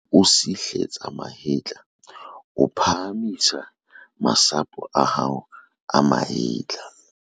O sihletsa mahetla o phahamisa masapo a hao a mahetla.